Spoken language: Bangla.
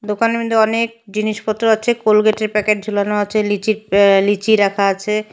দোকানের মইদ্যে অনেক জিনিসপত্র আচে কলগেটের প্যাকেট ঝুলানো আচে লিচির অ্যা লিচি রাখা আচে।